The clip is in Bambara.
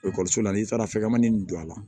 la n'i taara fɛngɛmanin ninnu don a la